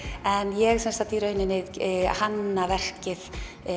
en ég í rauninni hanna verkið